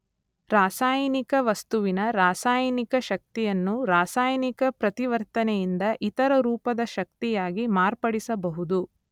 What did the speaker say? ರಾಸಾಯನಿಕ ವಸ್ತುವಿನ ರಾಸಾಯನಿಕ ಶಕ್ತಿಯನ್ನು ರಾಸಾಯನಿಕ ಪ್ರತಿವರ್ತನೆಯಿಂದ ಇತರ ರೂಪದ ಶಕ್ತಿಯಾಗಿ ಮಾರ್ಪಡಿಸಬಹುದು.